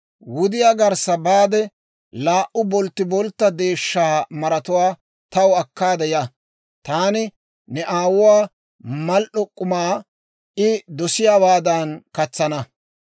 Wudiyaa garssa baade, laa"u bolttiboltta deeshshaa maratuwaa taw akkaade ya; taani ne aabboo mal"o k'umaa I dosiyaawaadan katsana.